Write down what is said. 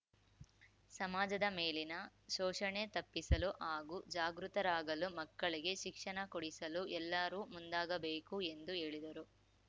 ಸಮಾಜದ ಮೇಲಿನ ಶೋಷಣೆ ತಪ್ಪಿಸಲು ಹಾಗೂ ಜಾಗೃತರಾಗಲು ಮಕ್ಕಳಿಗೆ ಶಿಕ್ಷಣ ಕೊಡಿಸಲು ಎಲ್ಲರೂ ಮುಂದಾಗಬೇಕು ಎಂದು ಹೇಳಿದರು